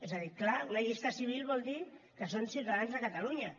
és a dir clar una llista civil vol dir que són ciutadans de catalunya